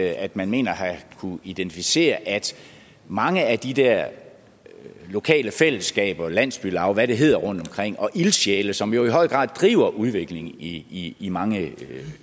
at man mener at have kunnet identificere at mange af de der lokale fællesskaber landsbylav og hvad det hedder rundtomkring og ildsjæle som i høj grad driver udviklingen i i mange